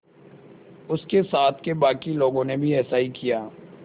उसके साथ के बाकी लोगों ने भी ऐसा ही किया